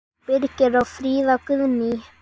Birgir og Fríða Guðný.